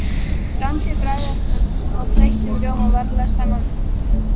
Blandið bragðefnum og þeyttum rjóma varlega saman við.